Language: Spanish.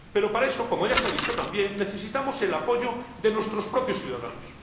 Pero para eso, como ya se ha dicho también, necesitamos el apoyo de nuestros propios ciudadanos.